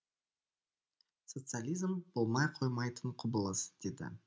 социализм болмай қоймайтын құбылыс деді